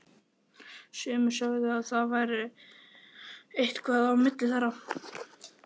Sumir sögðu að það væri eitthvað á milli þeirra.